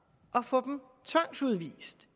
at få dem tvangsudvist